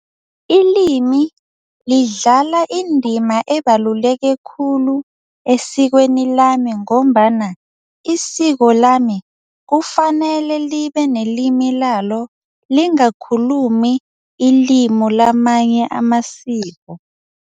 Ilimi lidlala indima ebaluleke khulu esikweni lami ngombana isiko lama kufanele libe nelimi lalo, lingakhulumi ilimu lamanye amasiko.